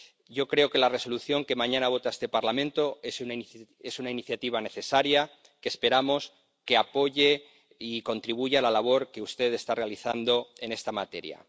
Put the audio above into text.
Yo creo que la Resolución que mañana vota este Parlamento es una iniciativa necesaria, que esperamos que apoye y contribuya a la labor que usted está realizando en esta materia.